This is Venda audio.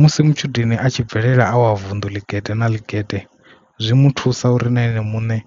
Musi matshudeni a tshi bvelela a wa vunḓu ḽigede na ḽigede zwi mu thusa uri na ene muṋe